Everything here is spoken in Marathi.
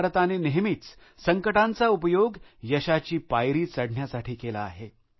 भारताने नेहमीच संकटांचा उपयोग यशाची शिडी चढण्यासाठी केला आहे